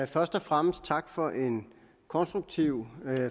først og fremmest tak for en konstruktiv